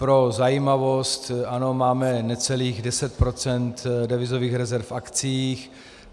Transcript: Pro zajímavost, ano, máme necelých 10 % devizových rezerv v akciích.